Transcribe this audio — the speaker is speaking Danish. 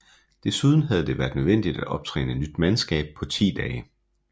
Desuden havde det været nødvendigt at optræne nyt mandskab på 10 dage